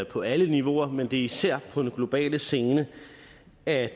på alle niveauer men det er især på den globale scene at